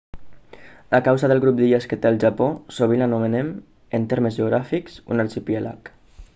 a causa del grup d'illes que té el japó sovint l'anomenem en termes geogràfics un arxipèlag